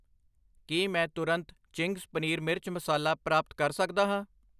ਕੀ ਮੈਂ ਤੁਰੰਤ ਚਿੰਗਜ਼ ਪਨੀਰ ਮਿਰਚ ਮਸਾਲਾ ਪ੍ਰਾਪਤ ਕਰ ਸਕਦਾ ਹਾਂ?